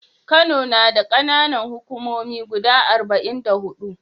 Kano nada kAna Nan hukumomi guda arba'in da hudu